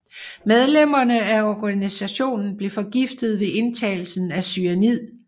Medlemmerne af organisationen blev forgiftet ved indtagelse af cyanid